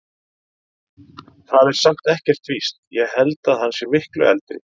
Það er samt ekkert víst. ég held að hann sé miklu eldri.